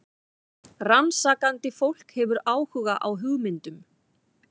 Rannsakandi fólk hefur áhuga á hugmyndum.